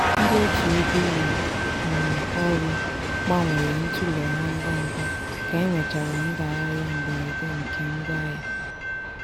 ndị otu ego ụlọ um ọrụ gbanwere ntule ha ngwa ugwa ka e nwechara ndagharịa mberede nke ngwa ahịa.